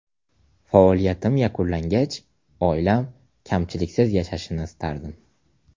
Faoliyatim yakunlangach oilam kamchiliksiz yashashini istardim.